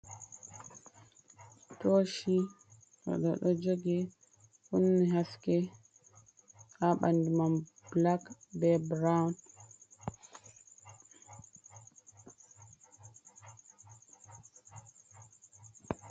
Todshi odo do jogi ,kunni haske ha bandu man black be brown.